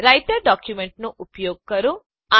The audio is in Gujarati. રાઈટર ડોક્યુંમેંટનો ઉપયોગ કરો